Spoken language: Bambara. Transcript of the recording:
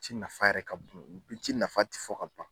Ci nafa yɛrɛ ka bon, o pi ci nafa tɛ fɔ ka ban